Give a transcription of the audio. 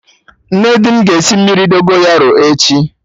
Nne di m ga-esi mmiri Dogonyaro echi